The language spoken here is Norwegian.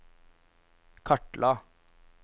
kartla